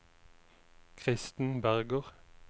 Kristen Berger